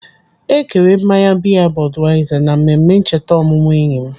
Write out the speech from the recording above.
Ekere mmanya biya Budweiser na mmemme ncheta ọmụmụ enyi m.